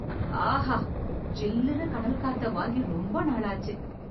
ஆஹா... ஜில்லுன்னு கடல்காத்த வாங்கி ரொம்ப நாளாச்சு...